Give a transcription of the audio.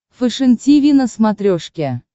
фэшен тиви на смотрешке